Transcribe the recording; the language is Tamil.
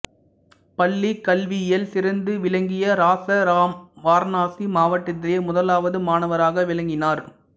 பள்ளிக்கல்வியில் சிறந்து விளங்கிய இராசாராம் வாரணாசி மாவட்டத்திலேயே முதலாவது மாணவராக விளங்கினார்